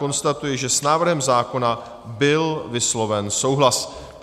Konstatuji, že s návrhem zákona byl vysloven souhlas.